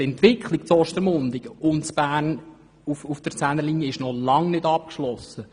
Die Entwicklung in Ostermundigen und in Bern entlang der 10er-Linie ist noch lange nicht abgeschlossen.